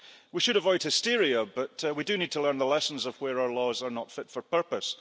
So we should avoid hysteria, but we do need to learn the lessons of where our laws are not fit for purpose.